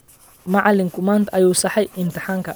Macalinku maanta ayuu saxayaa imtixaankii